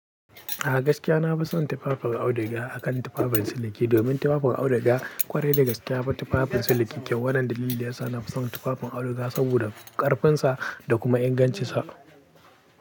A gaskiya na fi son tufafin auduga akan tufafin siliki domin tufafin auduga ƙwarai da gaske ya fi tufafin siliki kyau, wannan dalili da yasa na fi son tufafin auduga saboda ƙarfinsa da kuma ingancinsa.